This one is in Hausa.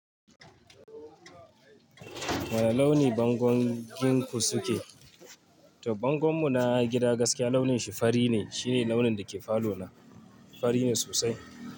Wane launi bangongin ku suke? To bangon mu na gida gaskiya launin shi fari ne. Shi ne launin da ke falo na. Fari ne sosai.